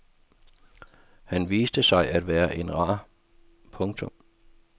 Han viste sig at være en rar. punktum